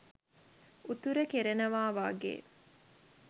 උතුරෙ කෙරෙනව වගෙ